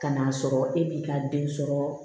Kan'a sɔrɔ e b'i ka den sɔrɔ